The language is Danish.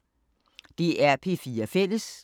DR P4 Fælles